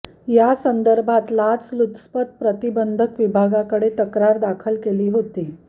या संदर्भात लाचलुचपत प्रतिबंधक विभागाकडे तक्रार दाखल केली होती